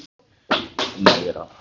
Magney, hvenær kemur leið númer eitt?